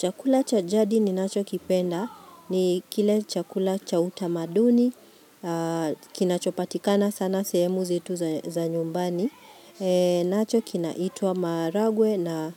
Chakula cha jadi ni nacho kipenda ni kile chakula cha utamaduni, kinachopatikana sana sehemu zetu za nyumbani, nacho kina itwa maharagwe na